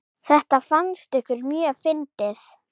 Þetta fannst ykkur mjög fyndið.